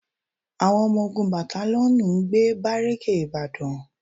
Àwọn ọmọ ogun batalíọ̀nù ń gbé bárékè ìbàdàn